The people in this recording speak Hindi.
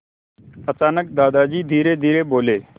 अचानक दादाजी धीरेधीरे बोले